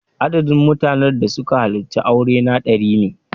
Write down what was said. Adadin mutanen da suka halarci aurena dari ne.